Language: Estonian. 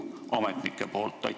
Aitäh!